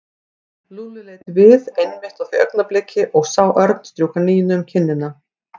Lúlli leit við einmitt á því augnabliki og sá Örn strjúka Nínu um kinnina.